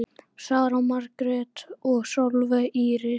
Sara Margrét og Sólveig Íris.